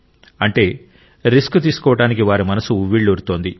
అంటే రిస్క్ తీసుకోవడానికి వారి మనస్సు ఉవ్విళ్లూరుతోంది